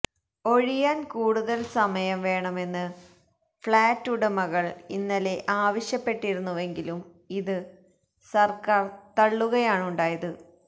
ഒഴിയാന് കൂടുതല് സമയം വേണമെന്ന് ഫഌറ്റ് ഉടമകള് ഇന്നലെ ആവശ്യപ്പെട്ടിരുന്നുവെങ്കിലും ഇത് സര്ക്കാര് തള്ളുകയാണുണ്ടായത്